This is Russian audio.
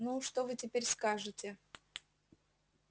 ну что вы теперь скажете